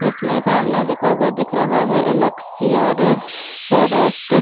जिसमें सामने लिखा हुआ दिख रहा है एल्ससियर फॉरेस्ट ।